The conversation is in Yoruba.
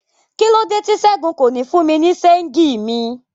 Kílode ti Sẹgun ko ní fún mi ni ṣéngì mi?